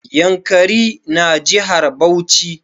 Yankari na jihar Bauchi